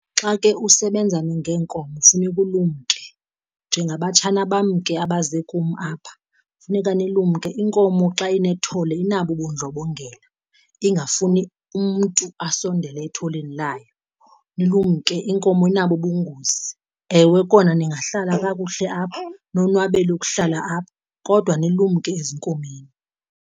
Xa ke usebenza ngeenkomo kufuneka ulumke, njengabatshana bam ke abaze kum apha funeka nilumke. Inkomo xa inethole inabo ubundlobongela ingafuni umntu asondele etholeni layo, nilumke inkomo inabo ubungozi. Ewe kona ningahlala kakuhle apho nonwabele ukuhlala apha kodwa nilumke ezinkomeni.